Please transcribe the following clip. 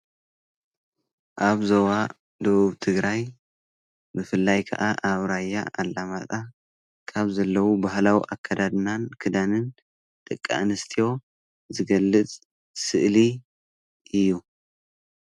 ኣብ ዞባ ደቡብ ትግራይ ብፍላይ ከዓ ራያ ኣላማጣ ካብ ዘለው ባህላዊ ኣከዳድናን ክዳንን ደቂ ኣንስትዮ ዝገልፅ ስእሊ እዩ።